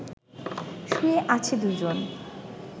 শুয়ে আছে দুজন